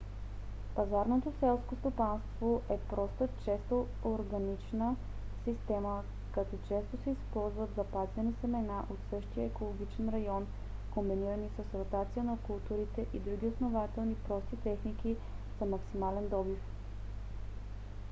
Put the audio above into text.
пазарното селско стопанство е проста често органична система като често се използват запазени семена от същия екологичен район комбинирани с ротация на културите и други относително прости техники за максимален добив